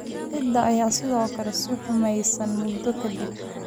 Ciidda ayaa sidoo kale sii xumaanaysay muddo ka dib.